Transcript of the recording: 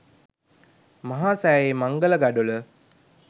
මහා සෑයේ මංගල ගඩොල